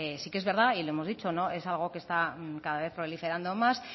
sí que es verdad y lo hemos dicho es algo que está cada vez proliferando más